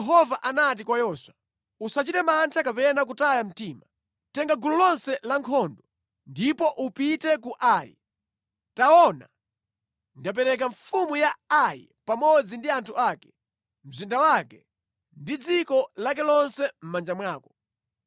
Kenaka Yehova anati kwa Yoswa, “Usachite mantha kapena kutaya mtima. Tenga gulu lonse la nkhondo, ndipo upite ku Ai. Taona, ndapereka mfumu ya Ai pamodzi ndi anthu ake, mzinda wake ndi dziko lake lonse mʼmanja mwako.